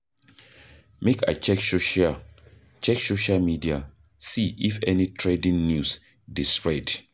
Make I check social check social media see if any trending news dey spread.